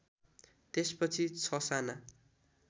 त्यसपछि ६ साना